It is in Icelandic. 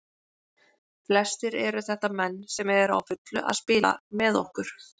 Flestir eru þetta menn sem eru á fullu að spila með okkur.